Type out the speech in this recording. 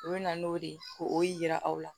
U bɛ na n'o de ye ko o ye yira aw la